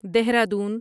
Dehradun